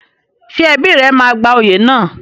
Ṣé ẹbí rẹ máa gba oyè náà?